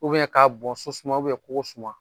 U bɛn k'a bɔn so suma ubɛn kogo suma